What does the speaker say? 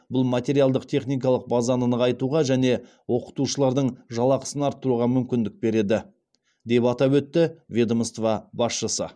бұл материалдық техникалық базаны нығайтуға және оқытушылардың жалақысын арттыруға мүмкіндік береді деп атап өтті ведомство басшысы